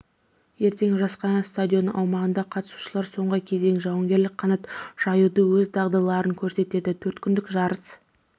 ертең жас қанат стадионы аумағында қатысушылар соңғы кезең жауынгерлік қанат жаюда өз дағдыларын көрсетеді төрткүндік жарыс